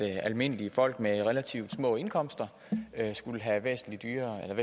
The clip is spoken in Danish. at almindelige folk med relativt små indkomster skulle have væsentlig